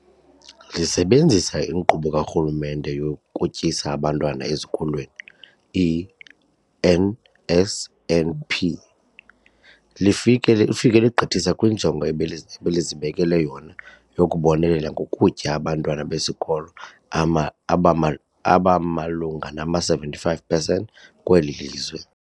Lisebenzisa iNkqubo kaRhulumente yokuTyisa Abantwana Ezikolweni, i-NSNP, lifike lifike legqithisa kwinjongo ebeli ebelizibekele yona yokubonelela ngokutya abantwana besikolo ama abama abamalunga nama-75 percent kweli lizwe.